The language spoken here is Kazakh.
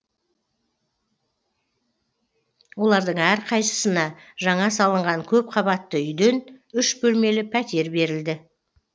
олардың әрқайсысына жаңа салынған көпқабатты үйден үш бөлмелі пәтер берілді